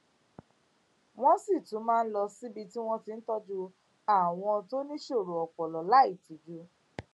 wón sì tún máa ń lọ síbi tí wón ti ń tójú àwọn tó níṣòro ọpọlọ láìtijú